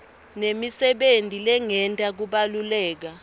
nemisebenti lengeta kubaluleka